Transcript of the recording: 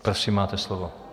Prosím, máte slovo.